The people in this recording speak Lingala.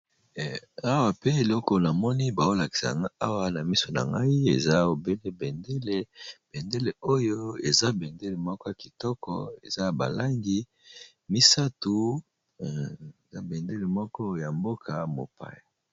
Awape eloko na moni bazolakisa ngai Awa eza bendele moko ya kitoko eza na ba langi misatu ,eza bendele moko ya mboka mopaya